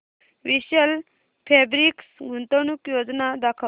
विशाल fabrics गुंतवणूक योजना दाखव